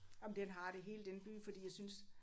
Ej men den har det hele den by fordi jeg synes